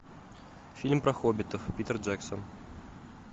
фильм про хоббитов питер джексон